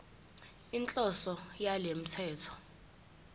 inhloso yalo mthetho